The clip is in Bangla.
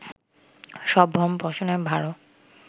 সব ভরণ পোষণের ভারও